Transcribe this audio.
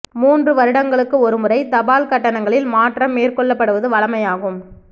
மூன்று வருடங்களுக்கு ஒரு முறை தபால் கட்டணங்களில் மாற்றம் மேற்கொள்ளப்படுவது வழமையாகும்